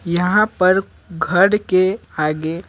यहां पर घर के आगे।